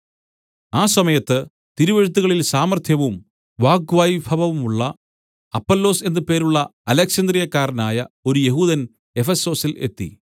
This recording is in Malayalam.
ആ സമയത്ത് തിരുവെഴുത്തുകളിൽ സാമർത്ഥ്യവും വാഗ്വൈഭവവുമുള്ള അപ്പൊല്ലോസ് എന്ന് പേരുള്ള അലെക്സന്ത്രിയക്കാരനായ ഒരു യെഹൂദൻ എഫെസൊസിൽ എത്തി